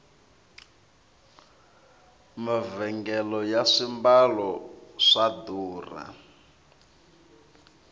mavhengele ya swimbalo swa durha